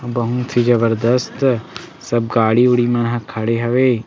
बहुत ही जबरजस्त सब गाड़ी-उड़ी मन ह खड़े हवे।